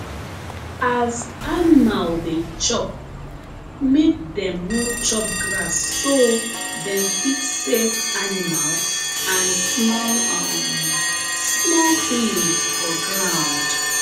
as animal dey chop make dem no chop grass so dem fit save animal and small um small things for ground